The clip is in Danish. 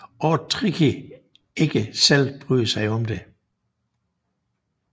Ord Tricky ikke selv bryder sig om